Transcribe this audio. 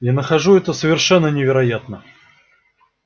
я нахожу это совершенно невероятно